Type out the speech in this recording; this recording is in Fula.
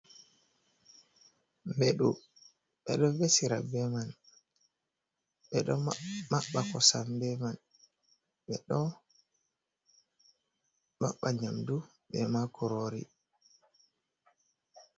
Mbeɗu, ɓe ɗo vesira be man, ɓe ɗo maɓɓa kosam be man, ɓe ɗo maɓɓa nyamdu e ma kurori.